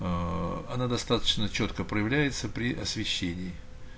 аа она достаточно чётко проявляется при освещении